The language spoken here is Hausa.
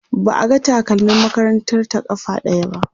ba a ga takalmin makarantar ta ƙafa ɗaya ba